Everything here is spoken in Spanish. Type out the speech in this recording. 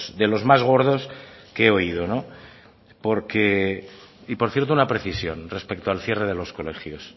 de los más gordos que he oído porque y por cierto una precisión respecto al cierre de los colegios